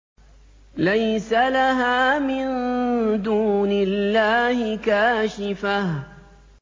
لَيْسَ لَهَا مِن دُونِ اللَّهِ كَاشِفَةٌ